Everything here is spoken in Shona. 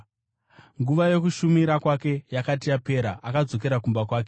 Nguva yokushumira kwake yakati yapera, akadzokera kumba kwake.